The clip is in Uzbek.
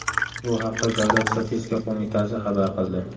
Bu haqda Davlat statistika qo‘mitasi xabar qildi.